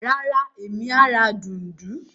Rárá, Emi a ra dùndún.